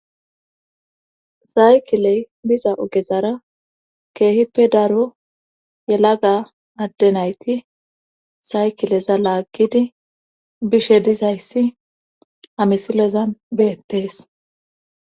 saykiley biza ogezara keehippe daro yelaga adde nayti saykileza laaggidi bishe dizayssi amisilezan beettees